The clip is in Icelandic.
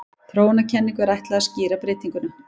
Þróunarkenningu er ætlað að skýra breytinguna.